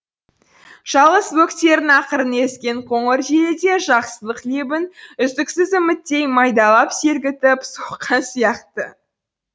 жалғыз бөктерінің ақырын ескен қоңыр желі де жақсылық лебін үздіксіз үміттей майдалап сергітіп соққан сияқты